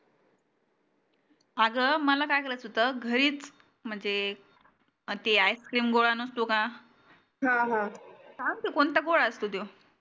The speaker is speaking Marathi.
आग मला काय करायच होत घरीच म्हणजे ते ice cream गोळा नसतो का कोणता गोळा असतो त्यो